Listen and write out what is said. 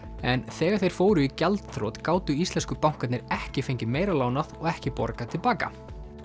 en þegar þeir fóru í gjaldþrot gátu íslensku bankarnir ekki fengið meira lánað og ekki borgað til baka